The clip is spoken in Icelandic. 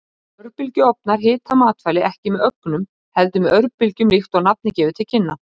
Örbylgjuofnar hita matvæli ekki með ögnum, heldur með örbylgjum líkt og nafnið gefur til kynna.